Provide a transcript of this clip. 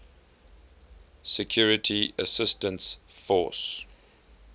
security assistance force